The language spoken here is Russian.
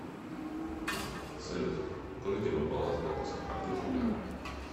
салют укажите мой баланс банковской карты в рублях